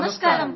ధన్యవాదాలు